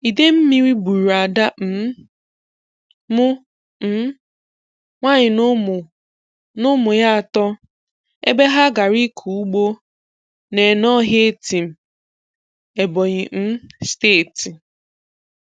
Idemmiri gbùrù Ádà um m um nwanyị na ụmụ na ụmụ ya atọ ebe ha gara ịkọ ụ̀gbọ n'Ènọhìá Ètìm, Ebonyi um Steeti.